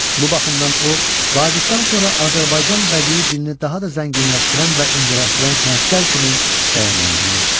Bu baxımdan o, Vaqifdən sonra Azərbaycan bədii dilini daha da zənginləşdirən və incələşdirən sənətkar kimi dəyərləndirilir.